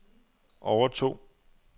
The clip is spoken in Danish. overtog